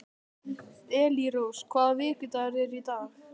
Elírós, hvaða vikudagur er í dag?